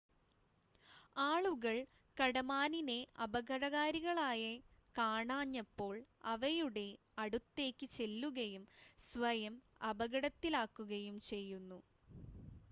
ആളുകൾ കടമാനിനെ അപകടകാരികളായി കാണാത്തപ്പോൾ അവയുടെ അടുത്തേക്ക് ചെല്ലുകയും സ്വയം അപകടത്തിലാക്കുകയും ചെയ്യുന്നു